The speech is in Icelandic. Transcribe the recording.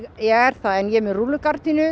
er það en ég er með rúllugardínur